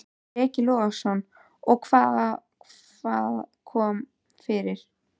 Breki Logason: Og hvað, hvað kom fyrir?